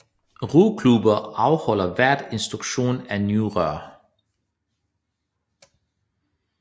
Roklubber afholder hvert instruktion for nye roere